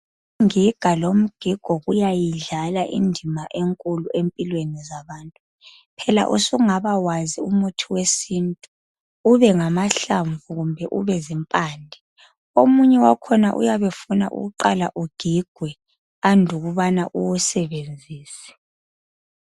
Ingiga lomgigo kuyayidlala indima enkulu empilweni zabantu. Phela usungaba wazi umuthi wesintu ubengamahlamvu kumbe ubezimpande. Omunye wakhona uyabe ufuna ukuqala ugigwe andubana uwusebenzise.